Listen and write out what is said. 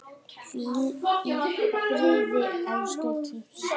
Hvíl í friði, elsku Kittý.